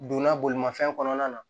Donna bolimafɛn kɔnɔna na